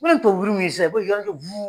Ko ni ye tubabu wuru min ye sisan i b'olu kɛ